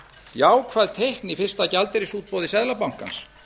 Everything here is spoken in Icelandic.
jákvæð teikn í fyrsta gjaldeyrisútboði seðlabankans